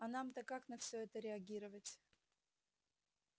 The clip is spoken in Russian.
а нам-то как на всё это реагировать